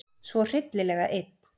Svo hryllilega einn.